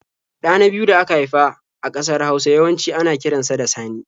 Ɗa na biyu da aka haifa a ƙasar Hausa yawanci ana kiran sa da Sani.